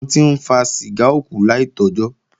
Àwọn tí ń fa ṣìgá ó kú láì tọ́jọ́